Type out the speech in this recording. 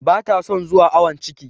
Ba ta son zuwa awon ciki.